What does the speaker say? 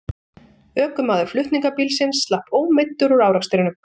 Ökumaður flutningabílsins slapp ómeiddur úr árekstrinum